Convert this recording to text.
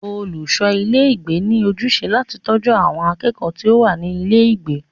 Olùṣọ ilé ìgbé ní ojúṣe láti bójútó àwọn akẹ́kọ̀ọ́ tí o wá ní ilé ìgbé.